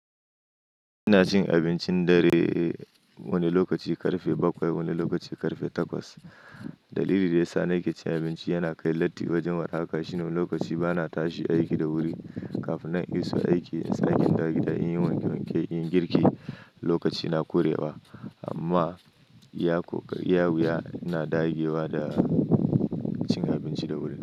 Ina cin abincin dare wani lokaci karfe bakwai wani lokaci karfe takwas. Dalili da ya sa na iya cin abinci yana kai latti wajen warhaka shine wani lokaci bana tashi aiki da wuri. Kafin nan in iso aiki, in sake in dawo gida in yi wanke-wanke in yi girki lokaci na ƙure wa amma iya kokari, iya wuya ina daggewa da cin abinci da wuri.